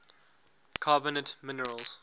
carbonate minerals